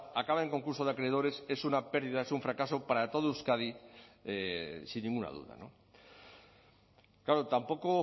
acaba en concurso de acreedores es una pérdida es un fracaso para todo euskadi sin ninguna duda claro tampoco